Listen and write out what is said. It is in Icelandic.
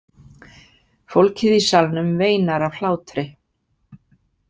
Fólkið í salnum veinar af hlátri.